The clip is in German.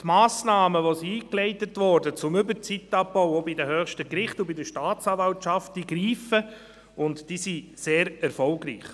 Die Massnahmen, die eingeleitet wurden, um die Überzeit auch bei den höchsten Gerichten und bei der Staatsanwaltschaft abzubauen, diese greifen und sind sehr erfolgreich.